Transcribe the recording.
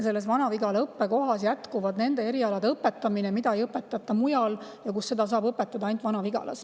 Selles Vana-Vigala õppekohas jätkub nende erialade õpetamine, mida ei õpetata mujal ja mida saab õpetada ainult Vana-Vigalas.